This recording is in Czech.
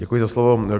Děkuji za slovo.